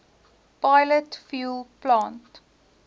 pilot fuel plant